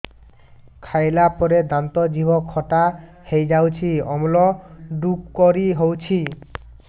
ଖାଇଲା ପରେ ଦାନ୍ତ ଜିଭ ଖଟା ହେଇଯାଉଛି ଅମ୍ଳ ଡ଼ୁକରି ହଉଛି